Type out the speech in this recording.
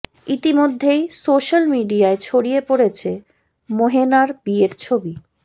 ইতিমধ্যেই সোশ্যাল মিডিয়ায় ছড়িয়ে পড়েছে মোহেনার বিয়ের ছবি